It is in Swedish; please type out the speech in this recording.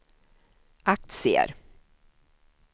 aktier